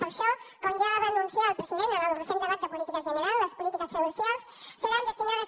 per això com ja va anunciar el president en el recent debat de política general les polítiques socials seran destinades